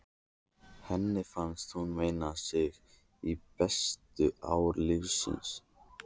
Henni fannst hún minna sig á bestu ár lífsins.